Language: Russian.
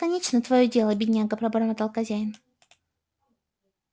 кончено твоё дело бедняга пробормотал хозяин